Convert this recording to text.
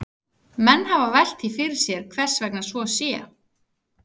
Menn hafa velt því fyrir sér hvers vegna svo sé.